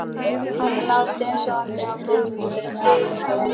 Hann lá steinsofandi á gólfinu fyrir framan rúmið.